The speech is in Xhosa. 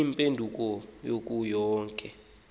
iimpendulo kuyo yonke